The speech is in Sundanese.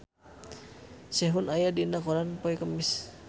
Sehun aya dina koran poe Kemis